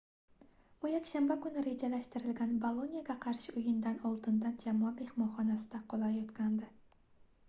u yakshanba kuni rejalashtirilgan boloniyaga qarshi oʻyindan oldidan jamoa mehmonxonasida qolayotgandi